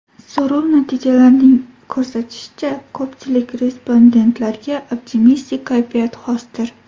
So‘rov natijalarining ko‘rsatishicha, ko‘pchilik respondentlarga optimistik kayfiyat xosdir.